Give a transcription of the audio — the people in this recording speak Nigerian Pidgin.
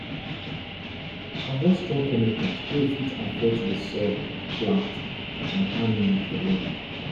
avoid strong chemicals wey fit affect the soil plant and animal for long